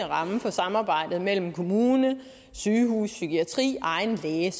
ramme for samarbejdet mellem kommune sygehus psykiatri egen læge er